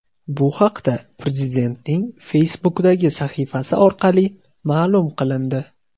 Bu haqda Prezidentning Facebook’dagi sahifasi orqali ma’lum qilindi .